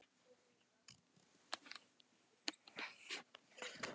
Ekkert hatur.